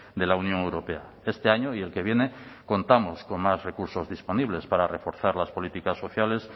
de la unión europea este año y el que viene contamos con más recursos disponibles para reforzar las políticas sociales